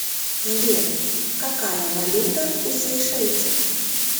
сбер какая валюта у сейшельцев